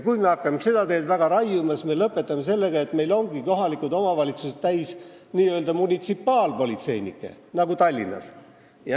Kui me hakkame seda teed väga raiuma, siis me lõpetame sellega, et meil ongi kohalikud omavalitsused täis n-ö munitsipaalpolitseinikke nagu Tallinnas.